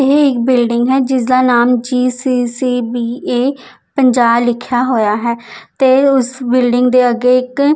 ਏਹ ਇਕ ਬਿਲਡਿੰਗ ਹੈ ਜਿਸਦਾ ਨਾਮ G C C B A ਪੰਜਾ ਲਿਖਿਆ ਹੋਇਆ ਹੈ ਤੇ ਉਸ ਬਿਲਡਿੰਗ ਦੇ ਅੱਗੇ ਇੱਕ--